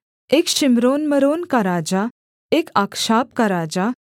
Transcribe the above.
एक शिम्रोन्मरोन का राजा एक अक्षाप का राजा